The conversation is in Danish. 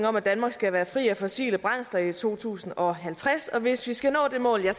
om at danmark skal være fri af fossile brændsler i to tusind og halvtreds og hvis vi skal nå det mål